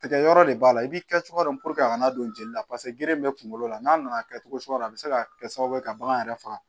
Tigɛ yɔrɔ de b'a la i b'i kɛ cogo dɔ a kana don jeli la paseke geren bɛ kungo la n'a nana kɛ cogo suguya la a bɛ se ka kɛ sababu ye ka bagan yɛrɛ faga